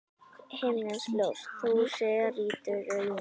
Himneskt ljós þú sér í draumi.